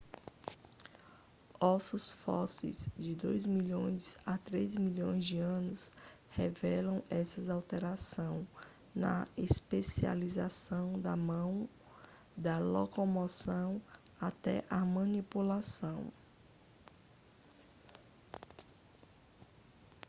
ossos fósseis de dois milhões a três milhões de anos revelam essa alteração na especialização da mão da locomoção até a manipulação